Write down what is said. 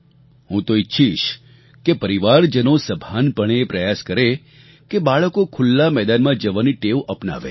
હું તો ઈચ્છીશ કે પરિવારજનો સભાનપણે એ પ્રયાસ કરે કે બાળકો ખુલ્લા મેદાનમાં જવાની ટેવ અપનાવે